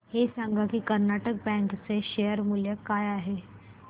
हे सांगा की कर्नाटक बँक चे शेअर मूल्य काय आहे